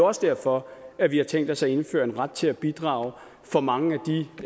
også derfor at vi har tænkt os at indføre en ret til at bidrage for mange